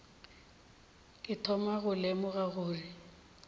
ke thoma go lemoga gore